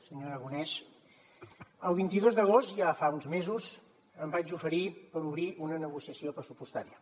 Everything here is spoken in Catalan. senyor aragonès el vint dos d’agost ja fa uns mesos em vaig oferir per obrir una negociació pressupostària